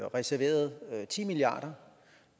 reserveret ti milliard